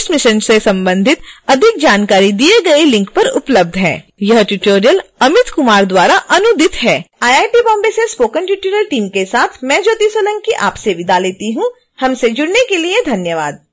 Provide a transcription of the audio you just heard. यह ट्यूटोरियल अमित कुमार द्वारा अनुवादित है आईआईटी बॉम्बे से स्पोकन ट्यूटोरियल एनीमेशन टीम के साथ मैं ज्योति सोलंकी आपसे विदा लेती हूँ हमसे जुड़ने के लिए धन्यवाद